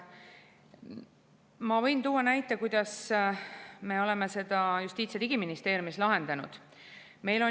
Ma võin tuua näite, kuidas me oleme seda Justiits‑ ja Digiministeeriumis lahendanud.